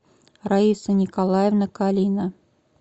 раиса николаевна калина